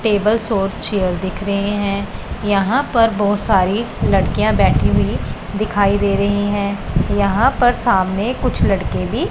tables और chair दिख रहे हैं यहां पर बहोत सारी लड़कियां बैठी हुई दिखाई दे रही है यहां पर सामने कुछ लड़के भी--